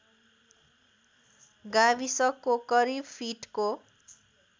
गाविसको करिब फिटको